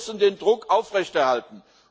Wir müssen den Druck aufrechterhalten!